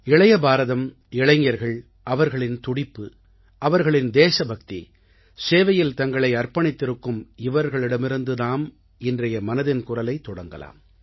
இளைய பாரதம் இளைஞர்கள் அவர்களின் துடிப்பு அவர்களின் தேசபக்தி சேவையில் தங்களை அர்ப்பணித்திருக்கும் இவர்களிடமிருந்து நாம் இன்றைய மனதின் குரலை தொடங்கலாம்